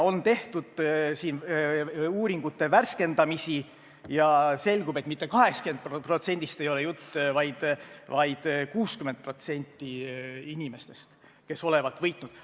On tehtud uuringute värskendamisi ja selgub, et mitte 80%-st ei ole jutt, vaid 60% inimestest, kes olevat võitnud.